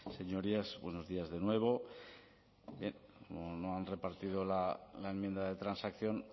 señorías buenos días de nuevo no han repartido la enmienda de transacción